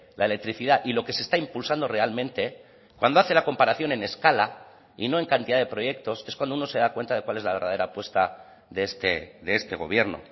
la electricidad y lo que se está impulsando realmente cuando hace la comparación en escala y no en cantidad de proyectos es cuando uno se da cuenta de cuál es la verdadera apuesta de este gobierno